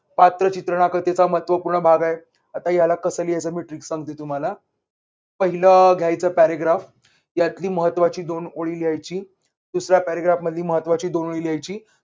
पात्र चित्रणकथेचा महत्वपूर्ण भाग आहे. आता ह्याला कसं लिहायचं मी trick सांगते पाहिलं अह घ्यायचं paragraph यातली महत्त्वाची दोन ओळी लिहायची. दुसऱ्या paragraph मधील महत्वाची दोन ओळी लिहायची.